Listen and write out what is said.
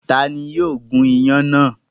Ta ni yóò gún iyán náà?